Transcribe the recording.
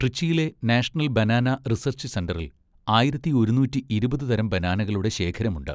ട്രിച്ചിയിലെ national banana research സെൻറ്ററിൽ ആയിരത്തിഒരുന്നൂറ്റിഇരുപത് തരം ബനാനകളുടെ ശേഖരമുണ്ട്!